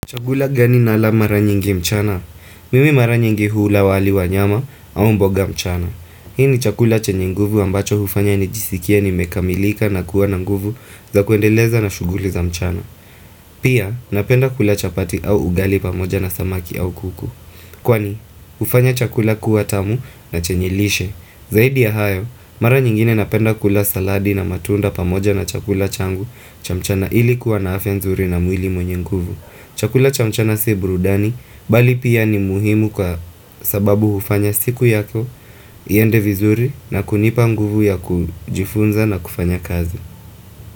Chakula gani nala mara nyingi mchana? Mimi mara nyingi hula wali wa nyama au mboga mchana. Hii ni chakula chenye nguvu ambacho hufanya nijisikie nimekamilika na kuwa na nguvu za kuendeleza na shuguli za mchana. Pia, napenda kula chapati au ugali pamoja na samaki au kuku. Kwani, hufanya chakula kuwa tamu na chenye lishe. Zaidi ya hayo, mara nyingine napenda kula saladi na matunda pamoja na chakula changu cha mchana ili kuwa na afya nzuri na mwili mwenye nguvu. Chakula cha mchana si burudani, bali pia ni muhimu kwa sababu hufanya siku yako, iende vizuri na kunipa nguvu ya kujifunza na kufanya kazi.